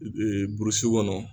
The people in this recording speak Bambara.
Burusi kɔnɔ